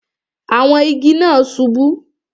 Àwọn igi náà subú